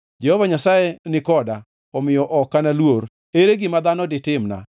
Jehova Nyasaye ni koda, omiyo ok analuor. Ere gima dhano ditimna?